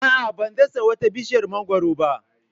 A'a, ban dasa wata bishiyar mangwaro ba.